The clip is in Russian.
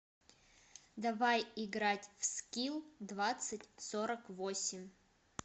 давай играть в скил двадцать сорок восемь